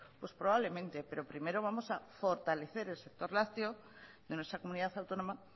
pues probablemente pero primero vamos a fortalecer el sector lácteo de nuestra comunidad autónoma